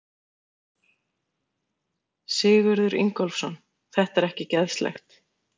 Sigurður Ingólfsson: Þetta er ekki geðslegt?